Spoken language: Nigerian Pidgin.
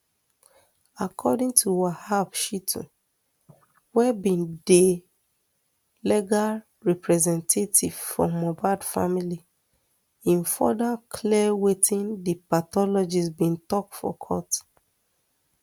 according to wahab shittu wey be di legal representative for mohbad family im further clear wetin di pathologist bin tok for court